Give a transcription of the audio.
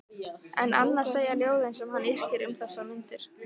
En annað segja ljóðin sem hann yrkir um þessar mundir